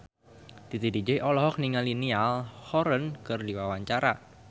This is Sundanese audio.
Titi DJ olohok ningali Niall Horran keur diwawancara